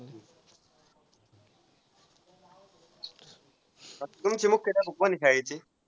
तुमचे मुख्याध्यापक कोण आहेत शाळेचे.